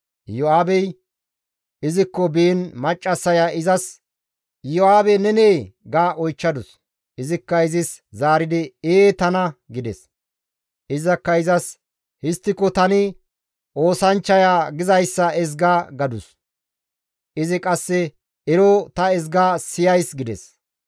Iyo7aabey izikko biin maccassaya izas, «Iyo7aabey nenee?» ga oychchadus. Izikka izis zaaridi, «Ee tana» gides. Izakka izas «Histtiko tani oosanchchaya gizayssa ezga» gadus. Izi qasse, «Ero ta ezga siyays» gides.